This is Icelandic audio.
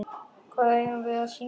Hvað eigum við að syngja?